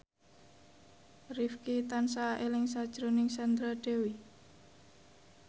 Rifqi tansah eling sakjroning Sandra Dewi